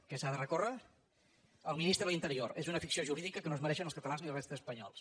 què s’ha de recórrer el ministre de l’interior és una ficció jurídica que no es mereixen els catalans ni la resta d’espanyols